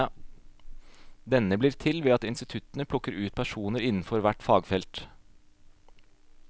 Denne blir til ved at instituttene plukker ut personer innenfor hvert fagfelt.